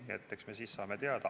Nii et eks me siis saame teada.